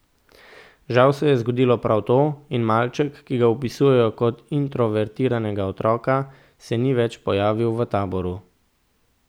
Žal se je zgodilo prav to, in malček, ki ga opisujejo kot introvertiranega otroka, se ni več pojavil v taboru.